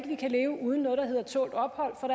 vi kan leve uden noget der hedder tålt ophold for